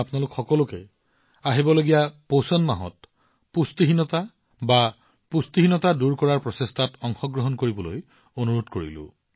মই আপোনালোক সকলোকে আগন্তুক পুষ্টি মাহত পুষ্টিহীনতা বা কুপোষণ দূৰ কৰাৰ প্ৰচেষ্টাত অংশগ্ৰহণ কৰিবলৈ অনুৰোধ কৰিম